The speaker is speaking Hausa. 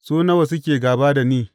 Su nawa suke gāba da ni!